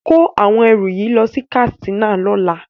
Kó àwọn ẹrù yìí lọ sí Katsina lọ́la.